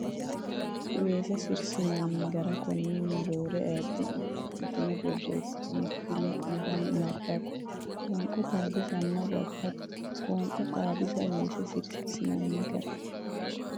Weese sirsinanni gara konninni roore ayidde ne xa mitine borreessitine kifile ne miillara nabbabbe Qoonqo Xaadisanna Babbada Qoonquwa xaadisse Weese sirsinanni gara.